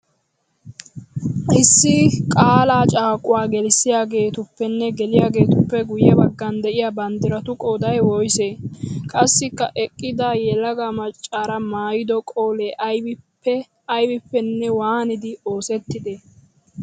Issi qaalla caaquwaa gelissiyagettuppenne geliyagettuppe guye bagan de'iya banddirattu qooday woysse? Qassikka eqqida yelaga maccara maayido qolee aybippe aybippenne waaniddi oosetti?